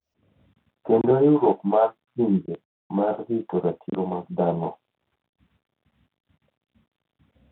Kendo riwruok mar Pinje mar rito ratiro mag dhano,